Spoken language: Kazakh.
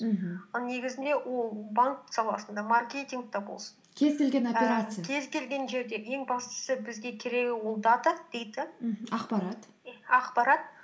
мхм ал негізінде ол банк саласында маркетингта болсын кез келген операция кез келген жерде ең бастысы бізге керегі ол дата дэйта мхм ақпарат ақпарат